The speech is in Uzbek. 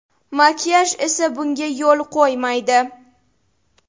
Makiyaj esa bunga yo‘l qo‘ymaydi.